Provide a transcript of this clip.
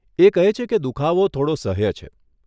એ કહે છે કે દુખાવો થોડો સહ્ય છે.